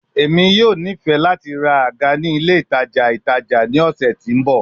Emi yoo nifẹ lati ra aga ni ile itaja itaja ni ọsẹ ti n bọ